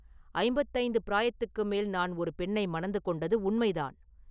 ஐம்பத்தைந்து பிராயத்துக்கு மேல் நான் ஒரு பெண்ணை மணந்து கொண்டது உண்மைதான்.